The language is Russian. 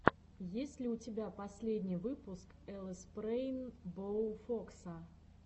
есть ли у тебя последний выпуск лспрейнбоуфокса